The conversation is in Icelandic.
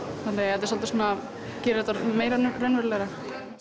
það gerir þetta meira raunverulegra